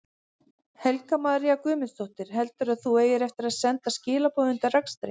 Helga María Guðmundsdóttir: Heldurðu að þú eigir eftir að senda skilaboð undir akstri?